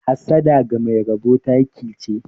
Hassada ga Mai rabo taki che.